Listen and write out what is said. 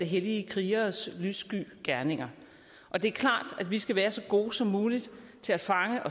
hellige krigeres lyssky gerninger det er klart at vi skal være så gode som muligt til at fange